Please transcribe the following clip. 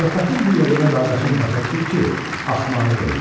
Söhbətin bu yerində qardaşın başa düşür ki, axmaqlıq eləyib.